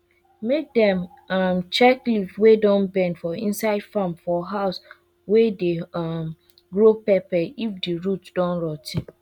mke dem um check leave wey don bend for inside farm for house wey dey um grow pepper if di root don rot ten